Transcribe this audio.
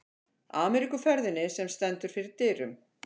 Ameríkuferðinni, sem stendur fyrir dyrum.